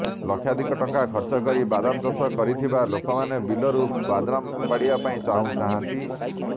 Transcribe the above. ଲକ୍ଷାଧିକ ଟଙ୍କା ଖର୍ଚ୍ଚ କରି ବାଦାମ ଚାଷ କରିଥିବା ଲୋକମାନେ ବିଲରୁ ବାଦାମ ଉପାଡ଼ିବା ପାଇଁ ଚାହୁଁନାହାଁନ୍ତି